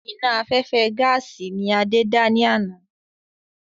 Iná afẹ́fẹ́ gaàsì ni Adé dá ní àná.